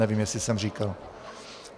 Nevím, jestli jsem říkal.